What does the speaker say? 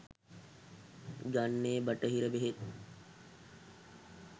ගන්නෙ බටහිර බෙහෙත්.